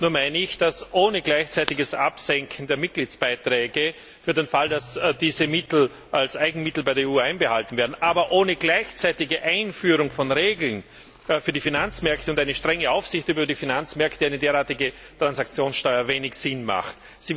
Nur meine ich, dass ohne gleichzeitiges Absenken der Mitgliedsbeiträge für den Fall, dass diese Mittel als Eigenmittel bei der EU einbehalten werden, und ohne gleichzeitige Einführung von Regeln für die Finanzmärkte und eine strenge Aufsicht über die Finanzmärkte eine derartige Transaktionssteuer wenig Sinn hat.